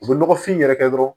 U bɛ nɔgɔfin yɛrɛ kɛ dɔrɔn